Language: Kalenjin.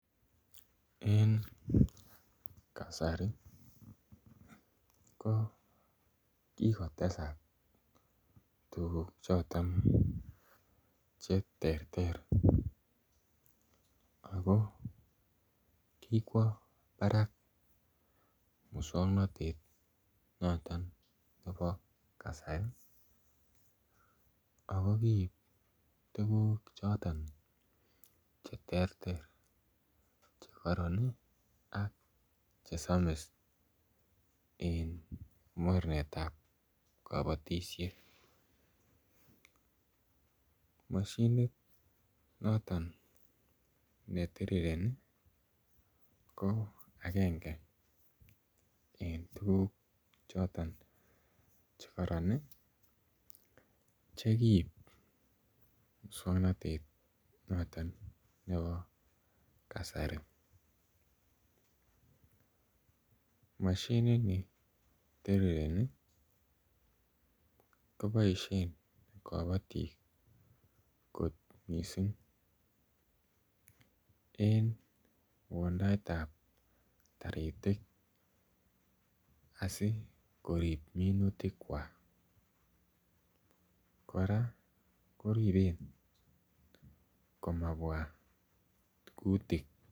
En kasari ko ki kotesak tuguk choton Che terter ago kikwo barak moswoknatet noton nebo kasari ago kiib tuguk choton Che terter Che kororon ak chesomis en mornetab kabatisiet mashinit noton ne tirireni ko agenge en tuguk choton Che karoron Che kiib moswoknatet noton nebo kasari mashinit ne tirireni ko boisien kabatik kot mising en wondaetab taritik asi korib minutikwak kora koriben komabwa kutik